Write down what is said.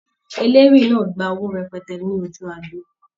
Eléwì náà gba owó rẹpẹtẹ ní ojú agbo.